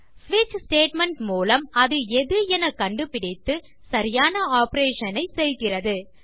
ஸ்விட்ச் ஸ்டேட்மெண்ட் மூலம் அது எது என கண்டு பிடித்து சரியான ஆப்பரேஷன் ஐ செய்கிறது